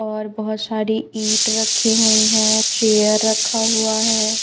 और बहोत सारी ईट रखी हुई है चेयर रखा हुआ है।